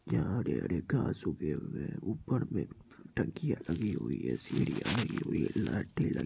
यहां हरे-हरे घांस उगे हुए हैं| ऊपर में टंकिया लगी हुई है| सीढियाँ लगी हुई है लाइटे लगी--